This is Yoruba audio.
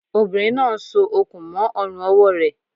Obìnrin náà n so okùn mó ọrùn ọwọ́ rẹ̀